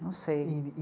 Não sei. E, e